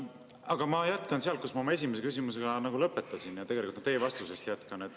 Aga ma jätkan sealt, kus ma oma esimese küsimusega lõpetasin, ja tegelikult jätkan ka teie vastusest.